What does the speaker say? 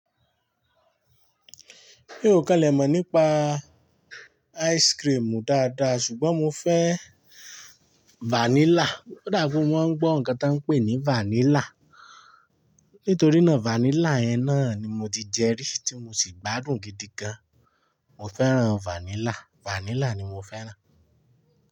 Mi ò kalẹ̀ mọ̀ nípa ice cream dáadáa, ṣùgbọ́n mo fẹ́ vanilla. Ó dà pé mo mọ́ ń gbọ́ nǹkan tí wọ́n ń pè ní vanilla. Nítorínà vanilla yẹn náà ni mo ti jẹ rí tí mo sì gbádùn gidi gan. Mo fẹ́ràn vanilla, vanilla ni mo fẹ́ràn.